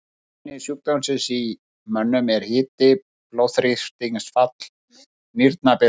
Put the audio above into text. Einkenni sjúkdómsins í mönnum eru hiti, blóðþrýstingsfall, nýrnabilun.